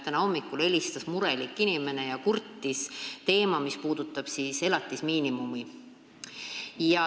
Täna hommikul helistas murelik inimene ja kurtis muret, mis puudutab elatismiinimumi.